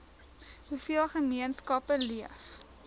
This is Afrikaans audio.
hoeveel gemeenskappe leef